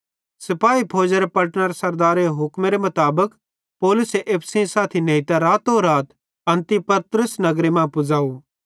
सिपाही फौजी पलटनरे सरदारेरे हुक्मेरे मुताबिक पौलुसे एप्पू सेइं साथी नेइतां रातो रात अन्तिपत्रिस नगरे मां पुज़ाव